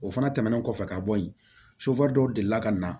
O fana tɛmɛnen kɔfɛ ka bɔ yen dɔw delila ka na